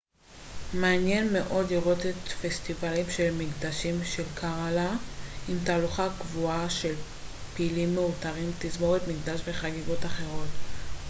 מעניין מאוד לראות את הפסטיבלים של המקדשים של קראלה עם תהלוכה קבועה של פילים מעוטרים תזמורות מקדש וחגיגות אחרות